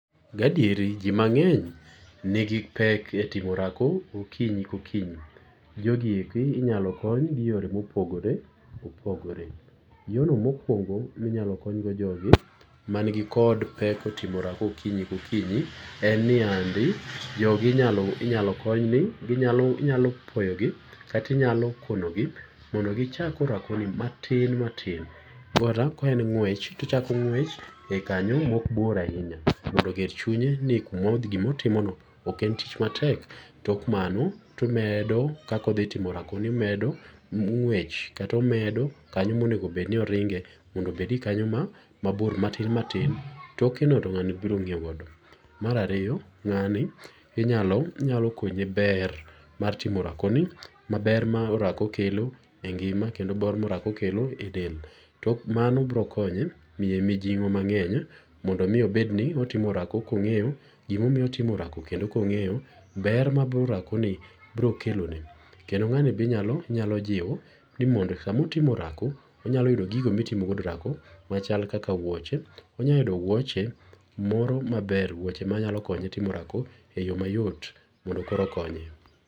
Gadieri ji mang'eny nigi pek e timo orako okinyi kokinyi. Jogi eki inyalo kony gi e yore mopogore opogore. Yorno mokuongo minyalo konygo jogo manikod pek e timo orako okinyi kokinyi en niyandi, jogi inyalo konygi, inyalo puoyogi kata inyalo konogi mondo gichak orako gi matin matin kata ka en ng'wech to gichako ng'wech e kanyo maokbor ahinya mondo oket chunygi ni gimotimono ok en tich matek. Tok mano to omedo kaka odhi timo orakono, omedo ng'wech kata omedo kanyo monego bedni oringe mondo obed kanyo mabor matin matin. Toke no to ng'ano biro ng'iyo go. Mar ariyo, ng'ani inyalo puonje ber mar timo orakoni, ber ma orako kelo e ngima kendo ber ma orako kelo e del. To mano biro konyo miye mijing'o mang'eny mondo mi obed ni otimo orako kong'eyo gimomiyo otimo orako, kong'eyo ber ma orako biro kelone. Kendo ng'ani dhi nyalo, inyalo jiwe ni mondo sama otimo orako, onyalo yudo gigo ma itimo godo orako kaka wuoche. Onya yudo wuoche moro maber, wuoche manyalo konyo timo orako eyo mayot mondo koro okonye.